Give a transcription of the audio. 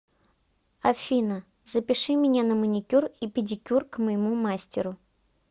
афина запиши меня на маникюр и педикюр к моему мастеру